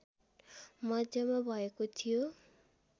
मध्यमा भएको थियो